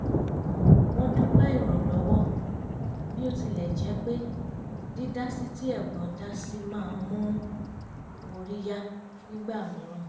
wọ́n dúpẹ́ ìrànlọ́wọ́ bí ó tilẹ̀ jẹ̀ pé dídásí tí ẹ̀gbọ́n dá si má ń mú orí yá nígbà mìíràn